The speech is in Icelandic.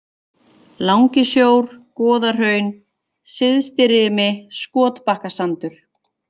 Langisjór, Goðahraun, Syðstirimi, Skotbakkasandur